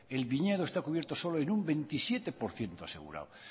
el viñedo está cubierto solo en un veintisiete por ciento asegurado